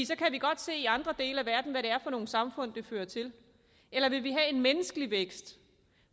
så kan vi godt se i andre dele af verden hvad det er for nogle samfund det fører til eller vil vi have en menneskelig vækst